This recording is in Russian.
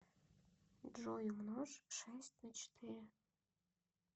джой умножь шесть на четыре